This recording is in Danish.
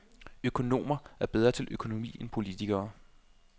Økonomer er bedre til økonomi end politikere.